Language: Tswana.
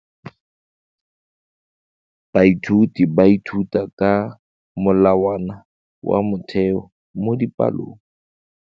Baithuti ba ithuta ka molawana wa motheo mo dipalong.